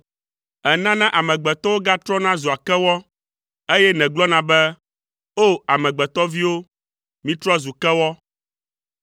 Ènana amegbetɔwo gatrɔna zua kewɔ, eye nègblɔna be, “O! Amegbetɔviwo, mitrɔ zu kewɔ.”